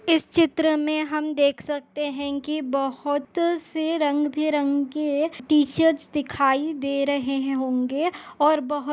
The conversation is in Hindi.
इस चित्र में हम देख सकते है कि बोहोत से रंग- बिरंगे टी-शर्टस दिखाई दे रहे होगें और बहुत --